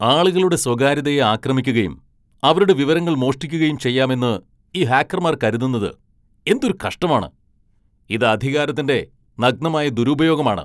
ആളുകളുടെ സ്വകാര്യതയെ ആക്രമിക്കുകയും അവരുടെ വിവരങ്ങൾ മോഷ്ടിക്കുകയും ചെയ്യാമെന്ന് ഈ ഹാക്കർമാർ കരുതുന്നത് എന്തൊരു കഷ്ടമാണ്! ഇത് അധികാരത്തിന്റെ നഗ്നമായ ദുരുപയോഗമാണ്.